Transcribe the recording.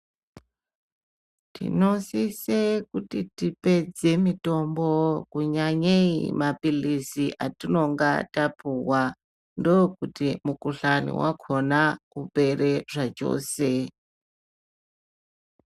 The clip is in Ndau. Tinosise kuti tipedze mitombo kunyanyei mapilizi atinonge tapuwa ndokuti mukuhlani wakhona ipere zvachose.